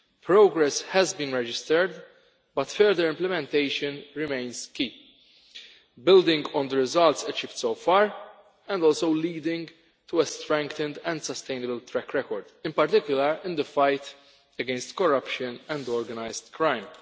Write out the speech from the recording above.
Progress has been registered, but further implementation remains key, building on the results achieved so far and also leading to a strengthened and sustainable track record, in particular in the fight against corruption and organised crime.